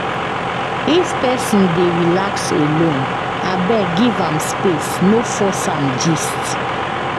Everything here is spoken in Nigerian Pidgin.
If pesin dey relax alone, abeg give am space, no force am gist.